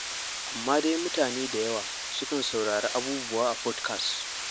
Amma dai mutane da yawa sukan saurari abubuwa a fodkas.